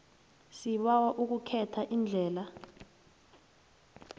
sibawa ukhethe iindlela